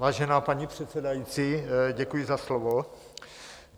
Vážená paní předsedající, děkuji za slovo.